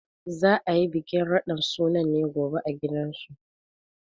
Za a yi bikin radin sunan ne gobe a gidansu.